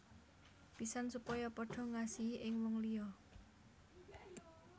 Pisan supaya padha ngasihi ing wong liya